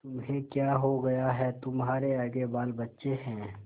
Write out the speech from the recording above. तुम्हें क्या हो गया है तुम्हारे आगे बालबच्चे हैं